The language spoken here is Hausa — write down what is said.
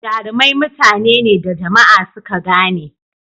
Jarumai mutane ne da jama'a suka gane.